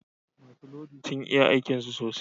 Masu lodi sun iya aikin su sosai